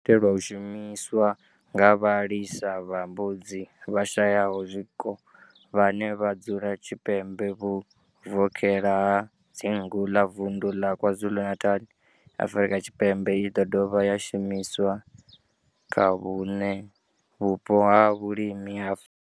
Yo itelwa u shumiswa nga vhalisa vha mbudzi vhashayaho zwiko vhane vha dzula tshipembe vhuvokhela ha dzingu ḽa Vundu ḽa KwaZulu-Natal, Afrika Tshipembe i ḓo dovha ya shumiswa kha vhuṋwe vhupo ha vhulimi ha.